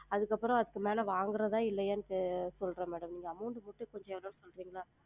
அதுக்கப்ரம் அதுக்கு மேல வாங்குறதா இல்லையான்ட்டு சொல்றன் madam நீங்க amount சொல்றீங்களா?